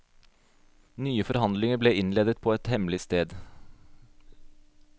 Nye forhandlinger ble innledet på hemmelig sted.